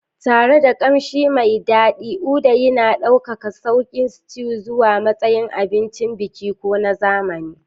Tare da ƙamshi mai daɗi, uda yana ɗaukaka sauƙi stews zuwa matsayin abincin biki ko na zamani.